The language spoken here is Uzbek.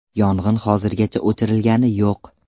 Yong‘in hozirgacha o‘chirilgani yo‘q.